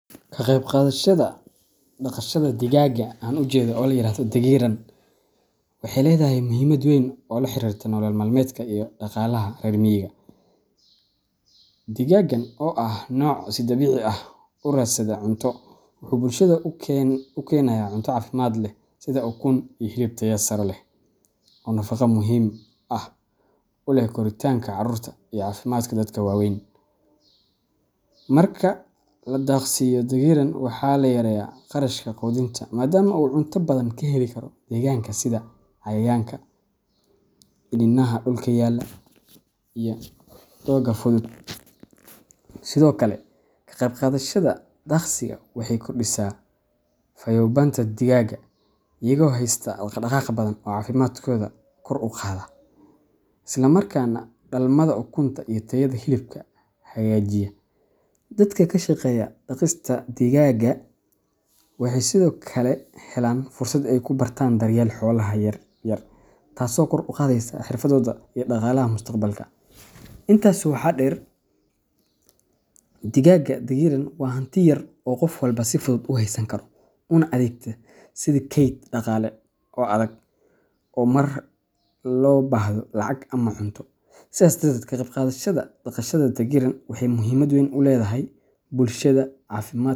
Ka qayb qaadashada daaqashada digaagga la yiraahdo dagiran, waxay leedahay muhiimad weyn oo la xiriirta nolol maalmeedka iyo dhaqaalaha reer miyiga. Digaaggan oo ah nooc si dabiici ah u raadsada cunto, wuxuu bulshada u keenayaa cunto caafimaad leh sida ukun iyo hilib tayo sare leh, oo nafaqo muhiim ah u leh koritaanka carruurta iyo caafimaadka dadka waaweyn. Marka la daaqsiiyo dagiran, waxaa la yareeyaa kharashka quudinta maadaama uu cunto badan ka heli karo deegaanka sida cayayaanka, iniinaha dhulka yaalla, iyo doogga fudud. Sidoo kale, ka qayb qaadashada daaqsiga waxay kordhisaa fayoobaanta digaagga, iyagoo heysta dhaqdhaqaaq badan oo caafimaadkooda kor u qaada, isla markaana dhalmada ukunta iyo tayada hilibka hagaajiya. Dadka ka shaqeeya daaqista digaagga waxay sidoo kale helaan fursad ay ku bartan daryeelka xoolaha yaryar, taasoo kor u qaadaysa xirfadohooda iyo dakhliga mustaqbalka. Intaa waxaa dheer, digaagga dagiran waa hanti yar oo qof walba si fudud u haysan karo, una adeegta sidii kayd dhaqaale oo degdeg ah marka loo baahdo lacag ama cunto. Sidaas darteed, ka qayb qaadashada daaqashada dagiran waxay muhiimad weyn ugu leedahay bulshada caafimaadkeda.